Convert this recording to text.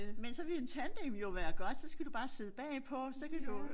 Men så ville en tandem jo være godt så skal du bare sidde bagpå så kan du